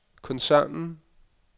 koncernen